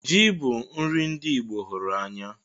Ji bu nri ndi Igbo hụrụ anya